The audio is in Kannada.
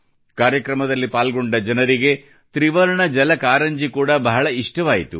ಕಾರ್ಯಕ್ರಮದಲ್ಲಿ ಪಾಲ್ಗೊಂಡ ಜನರಿಗೆ ತ್ರಿವರ್ಣ ಜಲ ಕಾರಂಜಿ ಕೂಡಾ ಬಹಳ ಇಷ್ಟವಾಯಿತು